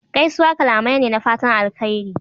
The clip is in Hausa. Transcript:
Gaisuwa kalamai ne na fatan alheri.